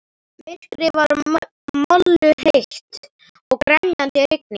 Myrkrið var molluheitt og grenjandi rigning.